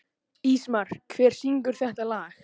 Ísmar, hver syngur þetta lag?